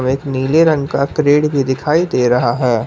एक नीले रंग का करेट भी दिखाई दे रहा है।